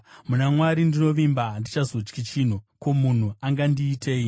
muna Mwari ndinovimba; handichazotyi chinhu. Ko, munhu angandiitei?